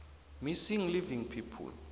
missing living people